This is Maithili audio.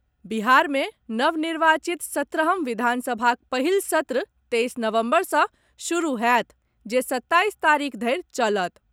बिहार मे नव निर्वाचित सत्रहम् विधानसभाक पहिल सत्र तैईस नवम्बर सँ शुरू होयत जे सत्ताईस तारीख धरि चलत।